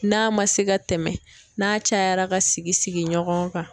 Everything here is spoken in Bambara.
N'a ma se ka tɛmɛ n'a cayara ka sigi sigi ɲɔgɔn kan.